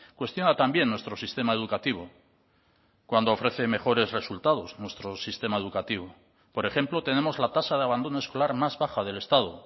cuestiona también nuestro sistema educativo cuando ofrece mejores resultados nuestro sistema educativo por ejemplo tenemos la tasa de abandono escolar más baja del estado